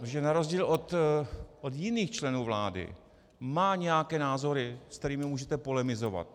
Protože na rozdíl od jiných členů vlády má nějaké názory, se kterými můžete polemizovat.